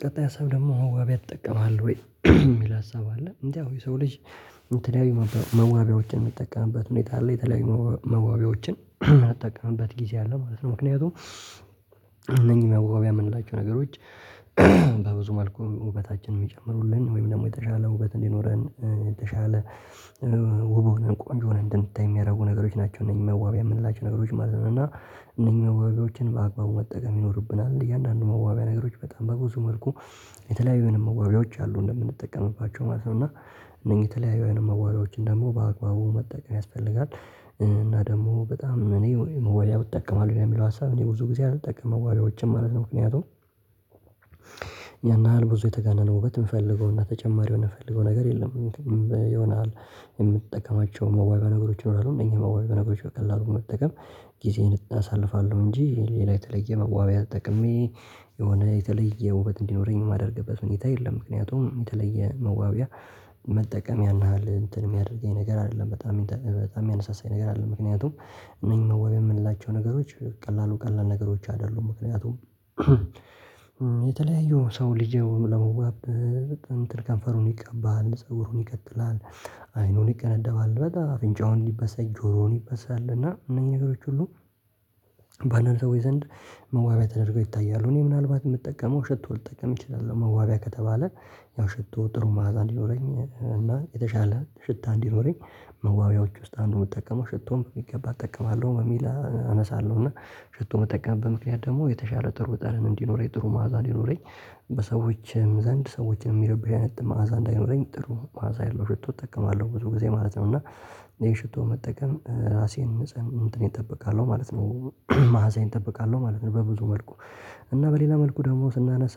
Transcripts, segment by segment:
ቀጣይ ሀሳብ ደግሞ መዋቢያ ትጠቀማለ ወይ? የሚል ሀሳብ አለ፤ እንደው የሰው ልጅ እንትን መዋቢያዎችን የሚጠቀምበት ሁኔታ ላይ የተለያዩ መዋቢያዎችን የማትጠቀምበት ጊዜ አለ ማለት ነው ምክንያቱም እነኚህ መዋቢያ የምንላቸው ነገሮች በብዙ መልኩ ውበታችንን የሚጨምሩልን ወይም ደግሞ የተሻለ ውበት እንዲኖረን የተሻለ ውብ ሆነን ቆንጆ እንድንታይ የሚያደርጉ ነገሮች ናቸው እነዚህ መዋቢያ የምንላቸው ነገሮች ማለት ነው እና እነዚህ መዋቢያዎችን በአግባቡ መጠቀም ይኖርብናል እያንዳንዱ መዋቢያ ነገሮች በጣም በብዙ መልኩ የተለያዩንም የመዋቢያዎች አሉ እንደምንጠቀምባቸው ማለት ነው እና እነዚህ የተለያዩ የመዋቢያዎችን ደግሞ በአግባቡ መጠቀም ያስፈልጋል እና ደግሞ በጣም እኔ መዋቢያ እጠቀማለሁ ለሚለው ሀሳብ እኔ ብዙ ጊዜ አልጠቀምም መዋቢያዎችን ማለት ነው ምክንያቱም ይሄን ያህል ብዙ የተጋነነ ውበት የምፈልገውና ተጨማሪ የምፈልገው ነገር የለም የሆነ የምትጠቀማቸው መዋቢያ ነገሮች እንደሆኑ እኛ መዋቢያ ነገሮች በቀላሉ መጠቀም ጊዜዬን አሳልፋለሁ እንጂ ሌላ የተለየ መዋቢያ ተጠቅሜ የሆነ የተለየ ውበት እንዲኖረኝ የማደርግበት ሆነታ የለም ምክንያቱም የተለየ መዋቢያ መጠቀም ያናሃል እንትን የሚያደርገኝ ነገር አይደለም በጣም በጣም ያነሳሳኝ ነገር አለ ምክንያቱም እነኝ መዋቢያ የምንላቸው ነገሮች ቀላሉ ቀላል ነገሮች አይደሉም ምክንያቱም የተለያዩ ሰው ልጅ ለመዋብ እንትን ከንፈሩን ይቀባል፣ ፀጉሩን ይቀጥላል፣ አይኑን ይቀነደባል፣ በጣም አፍንጫውን ይበሳል፣ ጆሮውን ይበሳል እና እነኝ ነገሮች ሁሉ ባለን ሰዎች ወይ ዘንድ መዋቢያ ተደርገው ይታያሉ እኔ ምናልባት የምጠቀመው ሽቶ ልጠቀም እችላለሁ መዋቢያ ከተባለ ያው ሽቶ ጥሩ ማዕዛ እንዲኖረኝ እና የተሻለ ሽታ እንዲኖረኝ መዋቢያዎች ውስጥ አንዱን የምጠቀመው ሽቶን የሚገባ እጠቀማለሁ በሚል አነሳለሁ እና ሽቶ መጠቀም በምክንያት ደግሞ የተሻለ ጥሩ በጣም እንዲኖረኝ ጥሩ ማዕዛ እንዲኖረኝ በሰዎችም ዘንድ ሰዎችንም ሚረብሽ አይነት መዓዛ እንዳይኖረኝ ጥሩ መዓዛ ያለው ሽቶ እጠቀማለሁ። ብዙ ጊዜ ማለት ነው እና ይሄ ሽቶ መጠቀም ራሴን ንጹህ እንትን ይጠበቃሉ ማለት ነው መዓዘዬን ጠብቃለሁ ማለት ነው በብዙ መልኩ እና በሌላ መልኩ ደግሞ ስናነሳ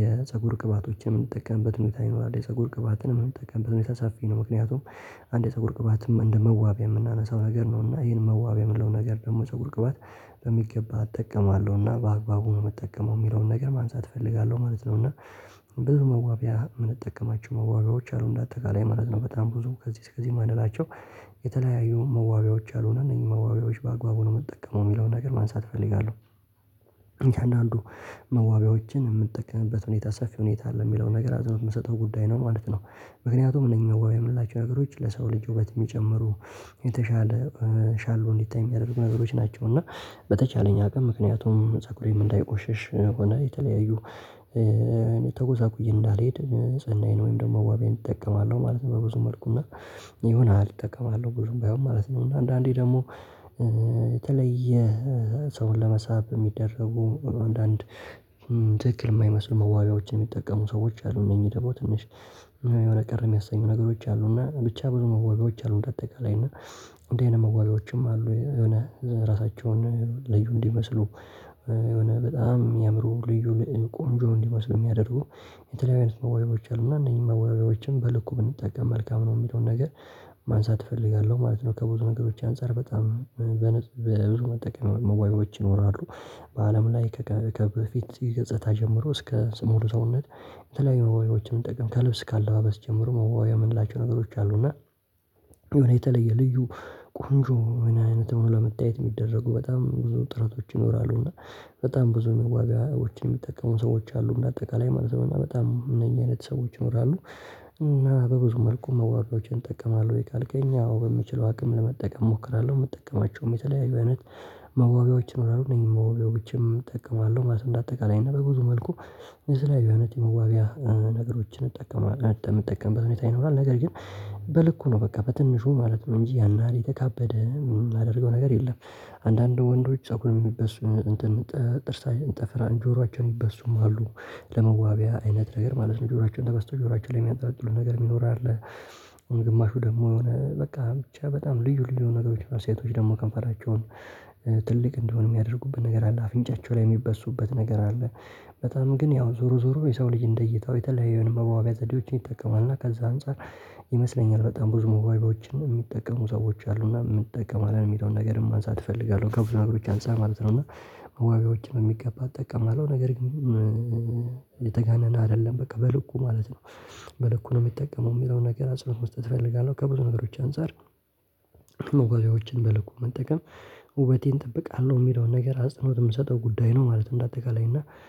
የፀጉር ቅባቶችን የምንጠቀምበት ሁኔታ ይኖራል የፀጉር ቅባትንም ምንጠቀምበት ሁኔታ ሳፍ ነው ምክንያቱም አንድ የፀጉር ቅባትም እንደ መዋቢያ የምናነሳው ነገር ነው እና ይሄን መዋቢያ የምለው ነገር ደግሞ ፀጉር ቅባት በሚገባ እጠቀማለሁና በአግባቡ ነው የምጠቀመው የሚለውን ነገር ማንሳት እፈልጋለሁ ማለት እና ብዙ መዋቢያ የምንጠቀማቸው መዋቢያዎች አሉ እንደ አጠቃላይ ማለት ነው በጣም ብዙ ከዚህ እስከዚህ ማንላቸው የተለያዩ መዋቢያዎች አልሆነም እነዚህ መዋቢያዎች በአግባቡ ነው የምጠቀመው የሚለውን ነገር ማንሳት እፈልጋለሁ እያንዳንዱ መዋቢያዎችን የምትጠቀምበት ሁኔታ ሰፊ ሁኔታ አለ የሚለውን ነገር አዝነው የምሰጠው ጉዳይ ነው ማለት ነው። ምክንያቱም እነኚህ መዋቢያ የምንላቸው ነገሮች ለሰው ልጅ ውበት የሚጨምሩ የተሻለ ሻሎ እንዲታይ የሚያደርጉ ነገሮች ናቸው እና በተቻለኝ አቅም ምክንያቱም ፀጉሬም እንዳይቆሸሽ ሆነ የተለያዩ ተጎሳቁዬ እንዳልሄድ ንጽህናዬን ወይም ደግሞ መዋቢያዬን እጠቀማለሁ ማለት ነው። በብዙ መልኩ እና የሆነ አልጠቀምም ብዙም ባይሆን ማለት ነው እና አንዳንዴ ደግሞ የተለየ ሰውን ለመሳብ የሚደረጉ አንዳንድ ትክክል የማይመስል መዋጋዎችን የሚጠቀሙ ሰዎች አሉ እነኚህ ደግሞ ትንሽ የሆነ ቅር የሚያሰኙ ነገሮች አሉ እና ብቻ መዋቢያዎች አሉ በአጠቃላይ እና እንደዚህ አይነት መዋቢያዎችም አሉ የሆነ ራሳቸውን ለዩ እንዲመስሉ የሆነ በጣም የአእምሮ ልዩ ልዩ ቆንጆ እንዲመስሉ የሚያደርጉ የተለያዩ አይነት መዋቢያዎች አሉና እነኝህን መዋቢያዎችን በልኩ ብንጠቀም መልካም ነው የሚለውን ነገር ማንሳት እፈልጋለሁ ማለት ነው ከብዙ ነገሮች አንፃር በጣም በብዙ መጠቀም መዋቢያዎች ይኖራሉ በአለም ላይ ከከፊት ገጽታ ጀምሮ እስከ ሙሉ ሰውነት የተለያዩ መዋቢያዎችን ጥቅም ከልብስ ካለ አለባበስ ጀምሮ መዋቢያ የምንላቸው ነገሮች አሉ እና የተለየ ልዩ ቆንጆ አይነት ነው፣ ለመታየት የሚደረጉ በጣም ብዙ ጥረቶች ይኖራሉ እና በጣም ብዙ መዋቢያዎችን የሚጠቀሙ ሰዎች አሉ በአጠቃላይ ማለት ነው በጣም እነኚህ አይነት ሰዎች ይኖራሉ እና በብዙ መልኩ መዋቢያዎችን እጠቀማለሁ ወይ ካልከኝ። አዎ፣ በሚችለው አቅም ለመጠቀም እሞክራለሁ የምጠቀማቸውም የተለያዩ አይነት መዋቢያዎችን ነው የምናምን ብቻም እጠቀማለሁ ማለት እንደ አጠቃላይ እና በብዙ መልኩ የተለያዩ አይነት የመዋቢያ ነገሮችን እንጠቀማለሁ፣ ምጠቀምበት ሁኔታ ይኖራል ነገር ግን በልኩ ነው በቃ በትንሹ ማለት ነው፤ እንጂ ያን ያህል የተካበደ የምናደርገው ነገር የለም አንዳንዱ ወንዶች ፀጉር የሚበሱ እንትን ጥርስ ጥፍረን ጆሮዎችን ሚበሱም አሉ ለመዋቢያ አይነት ነገር ማለት ነው ጆሮአቸውን ተበስቶ ጆሮአችን ላይ የሚያጣጥሉ ነገር የሚኖር አለ። ግማሹ ደግሞ የሆነ በቃ ብቻ በጣም ልዩ ልዩ ነገሮች፤ ሴቶች ደግሞ ከንፈራቸውን ትልቅ እንደሆነ የሚያደርጉበት ነገር አለ አፍንጫቸው ላይ የሚበሱበት ነገር አለ በጣም ግን ያው ዞሮ ዞሮ የሰው ልጅ እንደ እይታው የተለያዩ መዋቢያ ዘዴዎችን ይጠቀማል እና ከዛ አንፃር ይመስለኛል በጣም ብዙ ሞባይቦችን የሚጠቀሙ ሰዎች አሉና የምን እጠቀማለን የሚለውን ነገር ማንሳት እፈልጋለሁ ከብዙ ነግሮች አንፃር ማለት ነው እና መዋቢያዎችን ነው የሚገባ እጠቀማለሁ ነገር ግን የተጋነነ አይደለም በቃ በልኩ ማለት ነው መልኩ ነው የሚጠቀመው የሚለውን ነገር አጽንኦት መስጠት እፈልጋለሁ ከብዙ ነገሮች አንፃር መዋቢያዎችን በልኩ መጠቀም ውበቴን እጠብቃለሁ የሚለውን ነገር አጽንኦት የምሰጠው ጉዳይ ነው ማለት እንደ አጠቃላይ እና